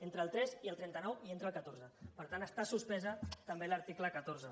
entre el tres i el trenta nou hi entra el catorze per tant està suspès també l’article catorze